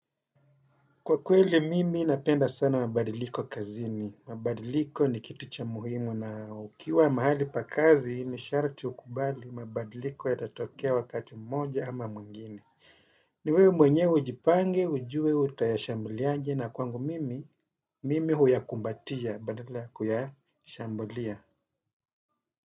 Kwa kweli mimi napenda sana mabadiliko kazini. Mabadiliko ni kitu cha muhimu na ukiwa mahali pa kazi ni sharti ukubali mabadiliko yatatokea wakati mmoja ama mwingine. Ni wewe mwenyewe ujipange, ujue utayashambuliaje na kwangu mimi, mimi huyakumbatia badala ya kuyashambulia.